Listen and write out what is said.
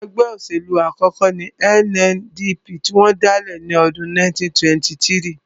Ẹgbẹ́ òṣèlú àkọ́kọ́ ní NNDP tí wọ́n dálẹ̀ ní ọdún 1923